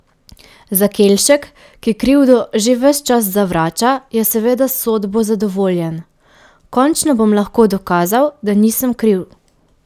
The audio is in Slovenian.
Zakelšek, ki krivdo že ves čas zavrača, je seveda s sodbo zadovoljen: 'Končno bom lahko dokazal, da nisem kriv.